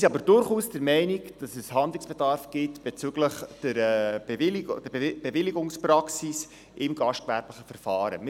Wir sind aber durchaus der Meinung, dass es bezüglich der Bewilligungspraxis im gastgewerblichen Verfahren Handlungsbedarf gibt.